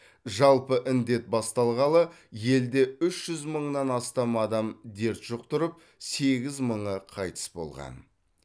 жалпы індет басталғалы елде үш жүз мыңнан астам адам дерт жұқтырып сегіз мыңы қайтыс болған